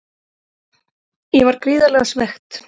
Ég var gríðarlega svekkt.